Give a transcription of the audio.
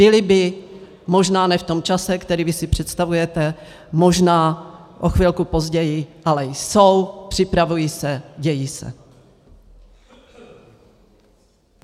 Byly by, možná ne v tom čase, který vy si představujete, možná o chvilku později, ale jsou, připravují se, dějí se.